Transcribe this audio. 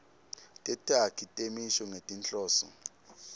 tetakhi temisho ngetinhloso